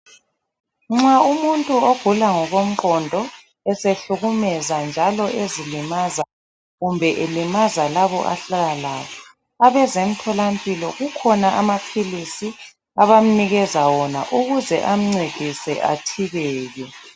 Nxa umuntu ogula ngokomqondo esehlukumeza njalo ezilimaza kumbe elimaza labo ahlala labo . Abezemtholampilo kukhona amaphilisi abamnikeza wona ukuze amncedise athibeke.